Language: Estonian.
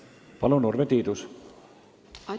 Palun, Urve Tiidus!